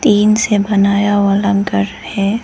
Tin बनाया हुआ लंगर है।